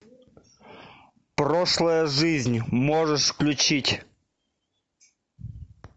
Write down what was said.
прошлая жизнь можешь включить